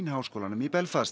háskólanum í Belfast